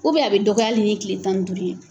a bɛ dɔgɔya hali ni tile tan ni duuru ye.